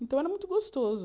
Então era muito gostoso.